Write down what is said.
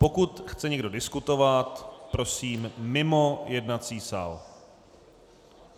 Pokud chce někdo diskutovat, prosím mimo jednací sál.